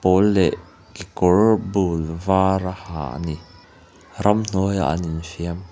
pâwl leh kekawr bûl vâr a ha a ni ramhnuaiah an infiam--